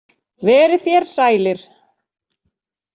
Verið þér sælir.